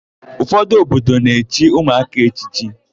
Ụfọdụ obodo na-echi ụmụaka echichi.